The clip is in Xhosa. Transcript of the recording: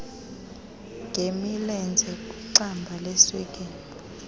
ngemilenze kwixamba leswekile